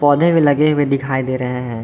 पौधे भी लगे हुए दिखाई दे रहे हैं।